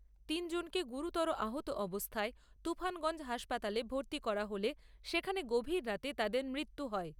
তিনজনকে গুরুতর আহত অবস্থায় তুফানগঞ্জ হাসপাতালে ভর্তি করা হলে সেখানে গভীররাতে তাঁদের মৃত্যু হয়।